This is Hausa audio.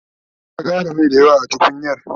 ta Ƙara Mai dayawa a tukunyar